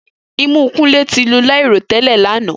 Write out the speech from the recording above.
Imu Kunle ti lu lairotẹlẹ lana.